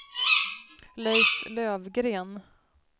Leif Lövgren